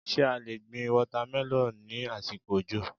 Ṣé a lè gbin wọ́támẹlọ́ ní àsìkò òjò?